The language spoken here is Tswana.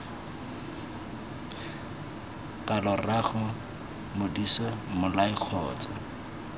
kalo rraago modise mmolai kgotsa